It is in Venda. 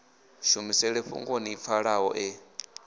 shumiseni fhungoni ḽi pfalaho ḽe